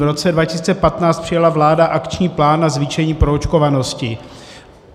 V roce 2015 přijala vláda akční plán na zvýšení proočkovanosti.